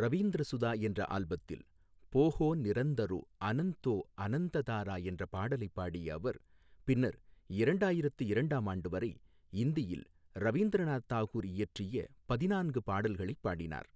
ரவீந்திர சுதா என்ற ஆல்பத்தில் போஹே நிரந்தரோ அனந்தோ ஆனந்ததாரா என்ற பாடலைப் பாடிய அவர், பின்னர் இரண்டாயிரத்து இரண்டாம் ஆண்டு வரை இந்தியில் ரவீந்திரநாத் தாகூர் இயற்றிய பதினான்கு பாடல்களைப் பாடினார்.